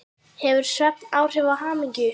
Hefur svefn áhrif á hamingju?